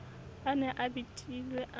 a ne a betilwe a